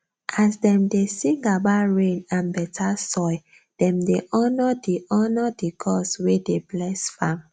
as dem dey sing about rain and better soil dem dey honour the honour the gods wey dey bless farm